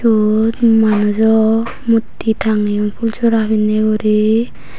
yot manujo mutti tangeyon pul sora pinney guri.